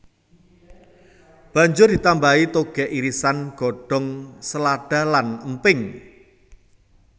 Banjur ditambahi taoge irisan godhong selada lan emping